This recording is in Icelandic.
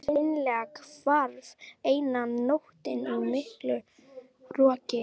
Það hreinlega hvarf eina nóttina í miklu roki.